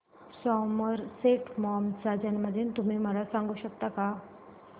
Somerset Maugham चा जन्मदिन तुम्ही मला सांगू शकता काय